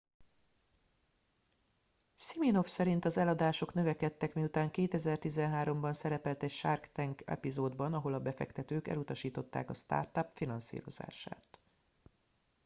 siminoff szerint az eladások növekedtek miután 2013 ban szerepelt egy shark tank epizódban ahol a befektetők elutasították a startup finanszírozását